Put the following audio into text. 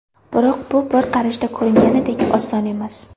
Biroq bu bir qarashda ko‘ringanidek oson emas.